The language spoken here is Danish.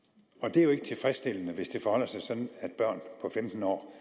det er jo ikke tilfredsstillende hvis det forholder sig sådan at børn på femten år